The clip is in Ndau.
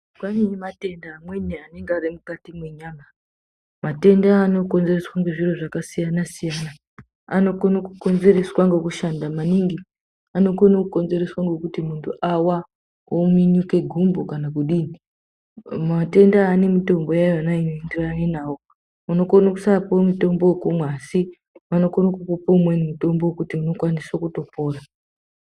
Kwane matenda amweni anenge ari emukati mwenyama. Matenda aya anokonzereswa ngezviro zvakasiyana siyana anokone kukonzereswa ngekushanda maningi, anokone kukonzereswa ngekuti muntu awa wominyuke gumbo kana kudii matenda aya ane mitombo yawo yona inoenderana nawo. Unokona kusapuwa mutombo wekumwa vanokone kukupa wekuti unokwanise kutopona.